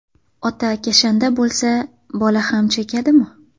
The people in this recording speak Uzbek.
Ota kashanda bo‘lsa, bola ham chekadimi?